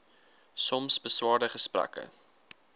soms beswaarde gesprekke